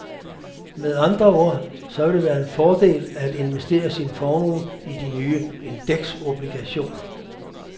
Med andre ord, så vil det være en fordel at investere sin formue i de nye indeksobligationer.